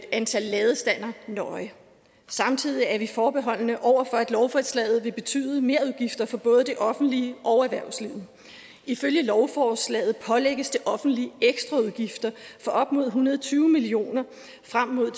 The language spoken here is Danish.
antallet af ladestandere nøje samtidig er vi forbeholdne over for at lovforslaget vil betyde merudgifter for både det offentlige og erhvervslivet ifølge lovforslaget pålægges det offentlige ekstra udgifter for op mod en hundrede og tyve million kroner frem mod